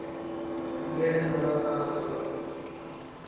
late झाल्यामुळं, हा बरोबर आहे.